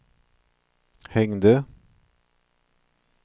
hängde